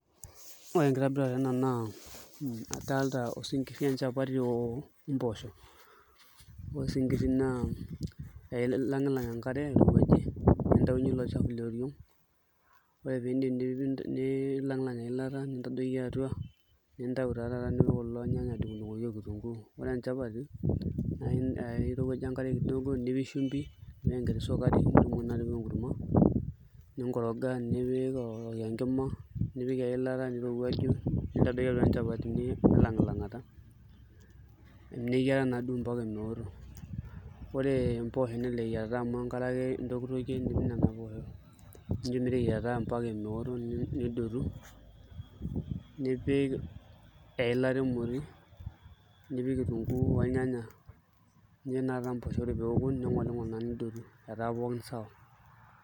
Ore enkitobirata ena na kadolta osinkiri wenchapati ompoosho na ilangilang enkare nintaunye ilo shala leboo ore piidip nilangilang eilata nipik atua nidungdungoli irnyanya okitunguu, oree enchapati nidungu nipik shumbi nipik sukari nipik enkurma ninkoroga nipik orokiyo enkima nirowuaju neyiara meeto, ore mpoosho kelelek amu enkare ake intonkitokie nipik nona poosho metaabmbaka meoto nidotu nipik eilata emoti nipik kitunguu ornyanya ore peoku ningolingol ake nidotu.